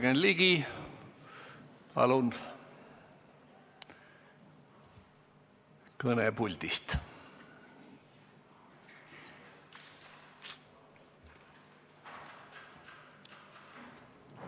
Jürgen Ligi, palun, kõne puldist!